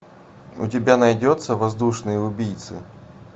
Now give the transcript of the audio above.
у тебя найдется воздушные убийцы